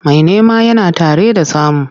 Mai nema yana tare da samu.